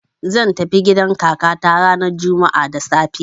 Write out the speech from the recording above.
zan tafi gidan kakata ranar juma'a da safe.